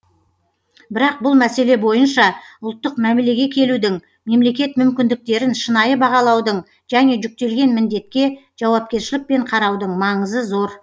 бірақ бұл мәселе бойынша ұлттық мәмілеге келудің мемлекет мүмкіндіктерін шынайы бағалаудың және жүктелген міндетке жауапкершілікпен қараудың маңызы зор